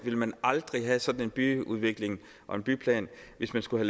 ville man aldrig have sådan en byudvikling og en byplan hvis man skulle